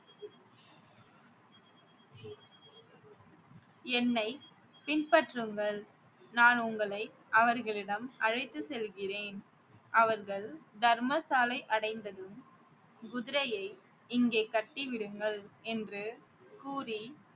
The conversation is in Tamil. என்னை பின்பற்றுங்கள் நான் உங்களை அவர்களிடம் அழைத்து செல்கிறேன் அவர்கள் தர்மசாலை அடைந்ததும் குதிரையை இங்கே கட்டி விடுங்கள் என்று கூறி